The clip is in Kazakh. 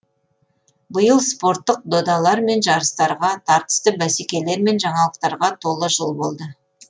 биыл спорттық додалар мен жарыстарға тартысты бәсекелер мен жаңалықтарға толы жыл болды